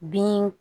Bin